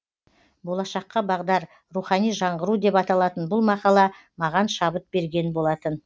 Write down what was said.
болашаққа бағдар рухани жаңғыру деп аталатын бұл мақала маған шабыт берген болатын